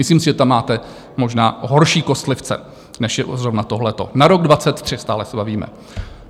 Myslím si, že tam máte možná horší kostlivce, než je zrovna tohle - na rok 2023, stále se bavíme.